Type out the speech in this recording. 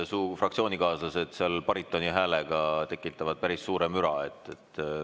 Su fraktsioonikaaslased oma baritonihäälega tekitavad päris suure müra.